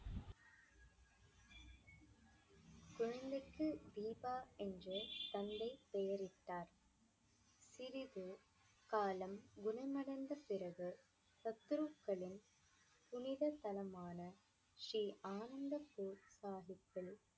தீபா என்று தந்தை பெயரிட்டார் சிறிது காலம் குணமடைந்த பிறகு சத்ருக்களின் புனித ஸ்தலமான ஸ்ரீ அனந்த்பூர் சாஹிப்பில்